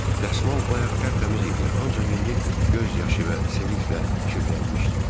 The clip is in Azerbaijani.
Dəsmal bayaq tərtəmiz idi, ancaq indi göz yaşı və seliklə kirlənmişdi.